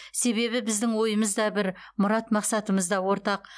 себебі біздің ойымыз да бір мұрат мақсатымыз да ортақ